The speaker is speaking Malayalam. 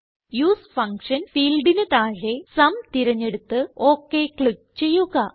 യുഎസ്ഇ ഫങ്ഷൻ ഫീൽഡിന് താഴെ സും തിരഞ്ഞെടുത്ത് ഒക് ക്ലിക്ക് ചെയ്യുക